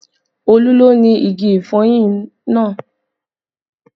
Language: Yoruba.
Olú ló ni igi ìfọyín náà